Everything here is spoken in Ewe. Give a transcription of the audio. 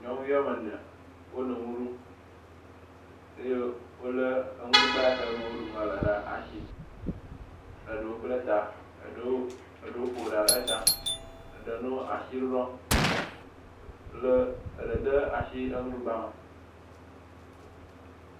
Nyɔnu wɔme ne wono nu ɖum eye wole enuɖugba ke me woɖu nua le ɖe asi. Eɖewo ble ta. Eɖewo ƒo ɖa ɖe ta. Eɖe nɔ asi ɖuɖɔm kple eɖe de asi enuɖugba me.